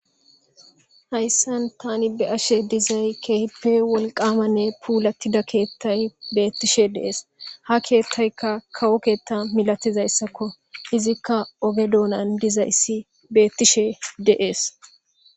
hayssan tani be7ashe dizay keehippe wolqamanne puulattida keettay beettishe deees ha keettaykka kawo keetta milatizayssakko izikka oge doonan dizayssi beettishe dee7es